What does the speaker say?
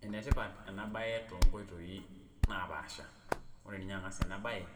Enetipat ena bae toonkooitoi naapasha , ore ninye angas enabae